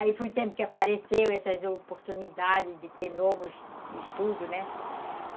Aí foi o tempo que apareceu essas oportunidades de ter novos estudos, né?